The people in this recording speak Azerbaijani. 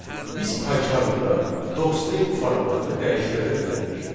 Biz PyCharmda docstring formatını dəyişdirə də bilərik.